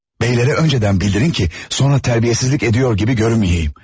Bəylərə öncədən bildirin ki, sonra tərbiyəsizlik ediyor kimi görünməyim.